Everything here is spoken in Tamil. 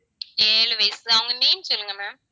ஏழு வயசு அவங்க name சொல்லுங்க ma'am